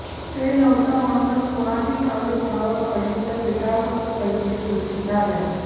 ते नव्हतं म्हणूनच कोणाची सावली कोणावर पडली तर विटाळ होतो वगैरे गोष्टी झाल्या